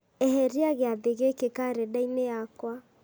eheria gĩathĩ gĩkĩ karenda-inĩ yakwa